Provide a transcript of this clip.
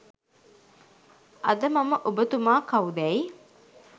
අද මම ඔබ තුමා කවුදැයි